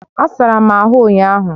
Asara m ahụ ụnyahụ